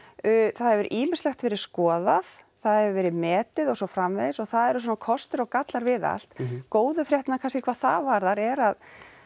það hefur ýmislegt verið skoðað það hefur verið metið og svo framvegis og það eru svona kostir og gallar við allt góðu fréttirnar kannski hvað það varðar er að